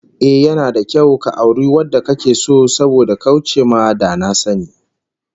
Ehh, yana da kyau ka auri wanda kake so saboda kauce ma da na sani